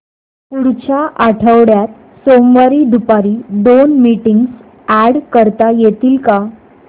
पुढच्या आठवड्यात सोमवारी दुपारी दोन मीटिंग्स अॅड करता येतील का